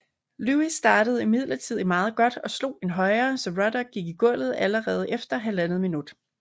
Lewis startede imidlertidlig meget godt og slog en højre så Ruddock gik i gulvet allerede efter halvandet minut